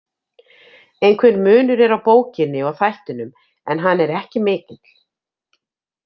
Einhver munur er á bókinni og þættinum en hann er ekki mikill.